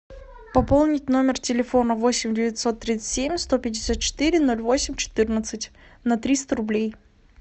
пополнить номер телефона восемь девятьсот тридцать семь сто пятьдесят четыре ноль восемь четырнадцать на триста рублей